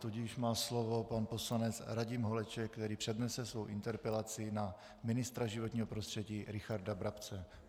Tudíž má slovo pan poslanec Radim Holeček, který přednese svou interpelaci na ministra životního prostředí Richarda Brabce.